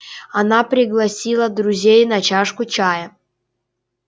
она пригласила друзей на чашку чая